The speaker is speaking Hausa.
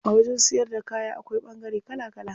A wajen siyar da kaya akwai ɓangare kala kala.